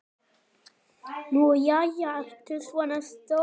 Nú jæja, ertu svona stór.